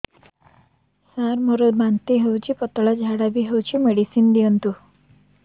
ସାର ମୋର ବାନ୍ତି ହଉଚି ପତଲା ଝାଡା ବି ହଉଚି ମେଡିସିନ ଦିଅନ୍ତୁ